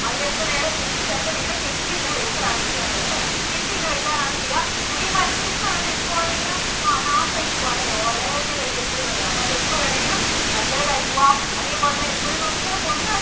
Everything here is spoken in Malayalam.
അതിലൊക്കെ നേരെ കൂട്ടി ചേർത്ത് ഇങ്ങനെ കെട്ടി ഇങ്ങനെ വെയ്ക്കല്‍ ആണ് ചെയ്യാറുള്ളത് അല്ലേ? കെട്ടി ഇങ്ങനെ വയ്ക്കാറാണ് ചെയ്യാ അപ്പോൾ ഈ manuscript എന്ന് പറയുന്നത് അതു എപ്പോ വേണമെങ്കിലും നാശം ആയി പോകാം അല്ലേ അത് ഓലയിയിലൊക്കെ അല്ലേ എഴുതുന്നത് അപ്പോൾ അതു എപ്പോ വേണെങ്കിലും ആയി പോകാം. അതേപോലെ തന്നെ എപ്പോഴും നമുക്കിങ്ങനെ കൊണ്ടുനടക്കാന്‍